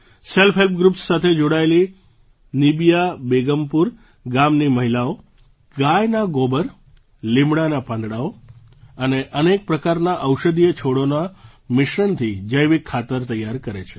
self help groups સાથે જોડાયેલી નિબિયા બેગમપુર ગામની મહિલાઓ ગાયના ગોબર લીમડાનાં પાંદડાંઓ અને અનેક પ્રકારના ઔષધીય છોડોના મિશ્રણથી જૈવિક ખાતર તૈયાર કરે છે